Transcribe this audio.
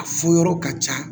A fɔ yɔrɔ ka ca